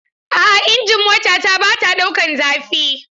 A'a injin motata bata ɗaukan zafi.